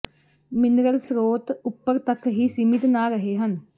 mineral ਸਰੋਤ ਉਪਰ ਤੱਕ ਹੀ ਸੀਮਿਤ ਨਾ ਰਹੇ ਹਨ